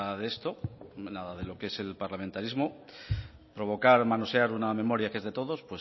de esto nada de lo qué es el parlamentarismo provocar manosear una memoria que es de todos